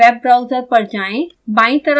web browser पर जाएँ